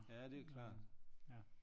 Ja det er klart